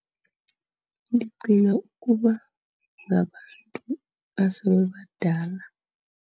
Ndicinga ukuba ngabantu asebebadala.